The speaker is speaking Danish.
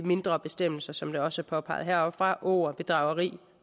mindre bestemmelser som det også er påpeget heroppefra åger bedrageri